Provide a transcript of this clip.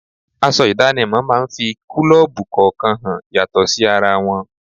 Aṣọ idanimo máa ń fi kulobu kọ̀ọ̀kan hàn yàtọ̀ sí ara wọn.